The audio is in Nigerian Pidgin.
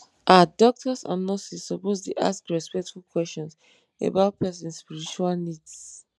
ah doctors and nurses suppose dey ask respectful questions about person spiritual needs.